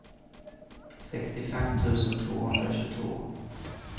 sextiofem tusen tvåhundratjugotvå